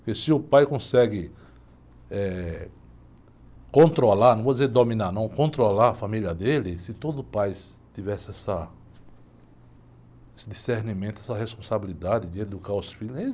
Porque se o pai consegue eh, controlar, não vou dizer dominar, não, controlar a família dele, se todo pai tivesse essa, esse discernimento, essa responsabilidade de educar os filhos. Ih